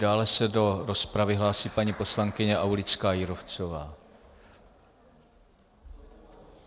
Dále se do rozpravy hlásí paní poslankyně Aulická Jírovcová.